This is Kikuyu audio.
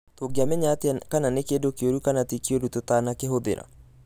Tũngĩamenya atĩa kana nĩ kĩndũ kĩũru kana ti kĩũru tũtakukĩhũthĩra?